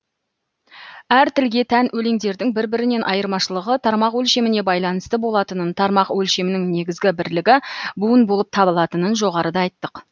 әр тілге тән өлеңдердің бір бірінен айырмашылығы тармақ өлшеміне байланысты болатынын тармақ өлшемінің негізгі бірлігі буын болып табылатынын жоғарыда айттық